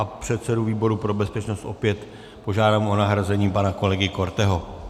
A předsedu výboru pro bezpečnost opět požádám o nahrazení pana kolegy Korteho.